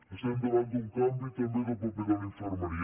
estem davant d’un canvi també del paper de la infermeria